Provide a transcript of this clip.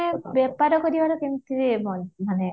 ତମେ ବେପାର କରିବାର କେମତି ମାନେ